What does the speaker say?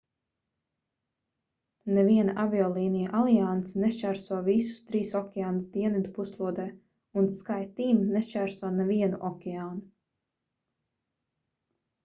neviena aviolīniju alianse nešķērso visus trīs okeānus dienvidu puslodē un skyteam” nešķērso nevienu okeānu